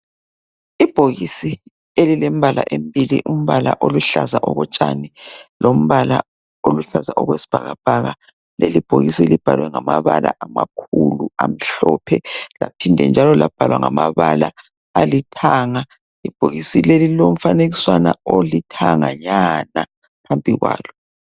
Ibhokisi elilembala embili umbala oluhlaza okotshane lombala oluhlaza okwesibhakabhaka leli bhokisi libhalwe ngamabala amakhulu amhlophe laphinde njalo labhalwa ngamabala alithanga ibhokisi leli lilombala olithanganyana phambili kwalo.